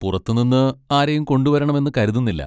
പുറത്തുനിന്ന് ആരെയും കൊണ്ടുവരണമെന്ന് കരുതുന്നില്ല.